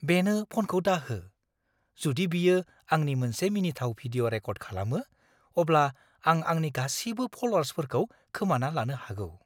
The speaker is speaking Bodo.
बेनो फनखौ दाहो। जुदि बियो आंनि मोनसे मिनिथाव भिडिअ' रेकर्द खालामो, अब्ला आं आंनि गासिबो फल'वार्सफोरखौ खोमाना लानो हागौ।